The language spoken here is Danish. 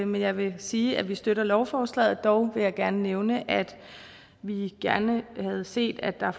men jeg vil sige at vi støtter lovforslaget dog vil jeg gerne nævne at vi gerne havde set at der